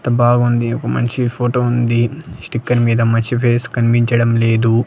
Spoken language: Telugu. అంతా బాగుంది ఒక మనిషి ఫోటో ఉంది స్టికర్ మీద మనిషి ఫేస్ కనిపించడం లేదు.